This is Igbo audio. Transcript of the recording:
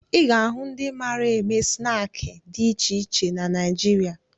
Ị ga-ahụ ndị mara eme snaakị dị iche iche na Naịjirịa